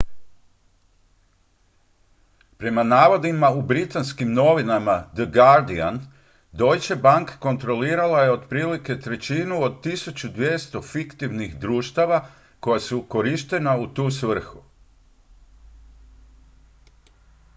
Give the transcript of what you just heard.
prema navodima u britanskim novinama the guardian deutsche bank kontrolirala je otprilike trećinu od 1200 fiktivnih društava koja su iskorištena u tu svrhu